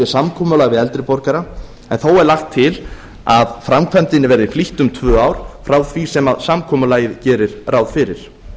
samkomulag við eldri borgara en þó er lagt til að framkvæmdinni verði flýtt um tvö ár frá því sem samkomulagið gerir ráð fyrir